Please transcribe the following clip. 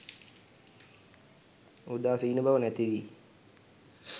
උදාසීන බව නැතිවී